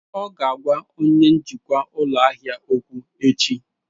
Ọ ga-agwa onye njikwa ụlọ ahịa okwu echi.